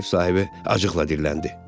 Ev sahibi acıqla dilləndi.